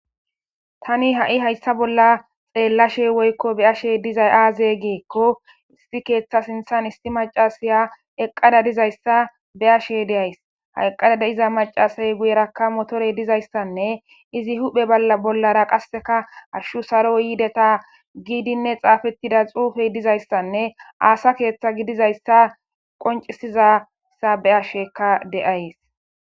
Tani ha7i hayssa bolla xeellashe woykko be ashe dizay aaze geekko isti keeththa sinthan isti macasaya eqqada dizayssa be ashe deays hayqqada de iza macasay guyerakka motore dizayssanne izi huphe balla bollara qasseka arshu saro yiideta giidinne xaafettida xuufey dizayssanne aasa keeththa gidizayssa qoncisizassa be asheka deays.